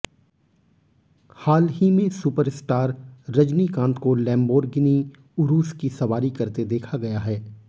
हाल ही में सुपरस्टार रजनीकांत को लम्बोर्गिनी उरुस की सवारी करते देखा गया है